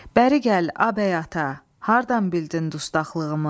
Bəri gəl, a bəy ata, hardan bildin dustaqlığımı?